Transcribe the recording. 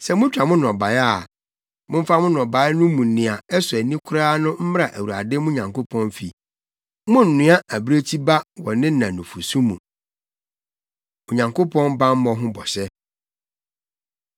“Sɛ mutwa mo nnɔbae a, Momfa mo nnɔbae mu nea ɛsɔ ani koraa no mmra Awurade mo Nyankopɔn fi. “Monnoa abirekyi ba wɔ ne na nufusu mu. Onyankopɔn Bammɔ Ho Bɔhyɛ